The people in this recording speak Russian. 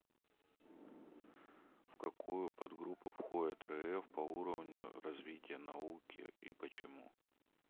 в какую подгруппу входит рф по уровню развития науки и почему